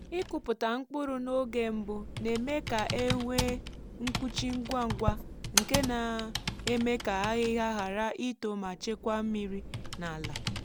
ịkụpụta mkpụrụ n’oge mbụ na-eme ka e nwee mkpuchi ngwa ngwa nke na-eme ka ahịhịa ghara ito ma chekwa mmiri n’ala.